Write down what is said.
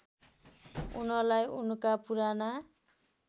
उनलाई उनका पुराना